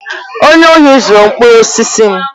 Onye ohi zuru mkpụrụ osisi m.